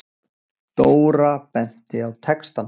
Dóra benti á textann.